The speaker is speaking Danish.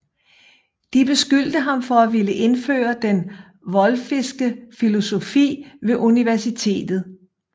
De beskyldte ham for at ville indføre den Wolfiske filosofi ved universitetet